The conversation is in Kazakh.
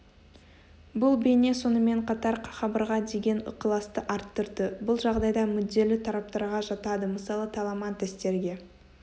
бұл бейне сонымен қатар хабарға деген ықыласты арттырды бұл жағдайда мүдделі тараптарға жатады мысалы таламантестерге